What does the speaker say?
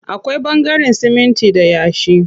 Akwai ɓangaren siminti da yashi.